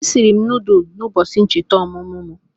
Esiri m nudulu n'ubochi ncheta omumu m